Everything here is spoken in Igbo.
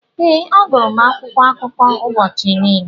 Ee, agụrụ akwụkwọ akụkọ ụbọchị niile.